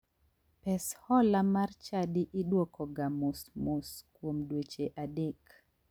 Pes hola mar chadi idwokoga mos mos kuom dweche adek.